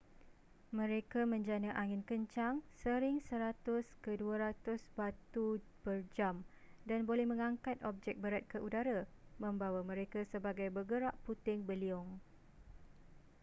mereka menjana angin kencang sering 100-200 batu/jam dan boleh mengangkat objek berat ke udara membawa mereka sebagai bergerak puting beliung